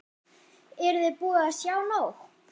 Eruði búin að sjá nóg?